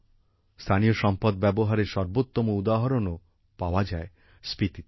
স্থানীয় সম্পদ ব্যবহারের সর্বোত্তম উদাহরণও পাওয়া যায় স্পিতিতে